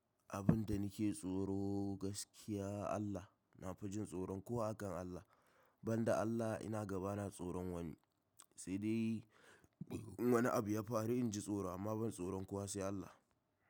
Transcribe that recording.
Abin da nake tsoro gaskiya Allah. Na fi jin tsoron kowa akan Allah. Ban da Allah ina ga bana tsoron wani. Sai dai in wani abu ya faru in ji tsoro amma ban tsoron kowa sai Allah.